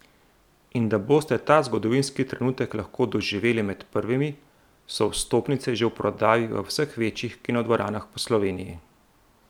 In da boste ta zgodovinski trenutek lahko doživeli med prvimi, so vstopnice že v prodaji v vseh večjih kinodvoranah po Sloveniji!